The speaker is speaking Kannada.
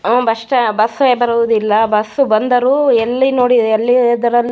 ಆವಾ ಬಸ್ ಸ್ಟಾಂಡ್ ಬಸ್ಸು ಬರುವುದಿಲ್ಲ ಬಸ್ಸು ಬಂದರು ಎಲ್ಲಿ ನೋಡಿ ಎಲ್ಲಿ ಇದರಲ್--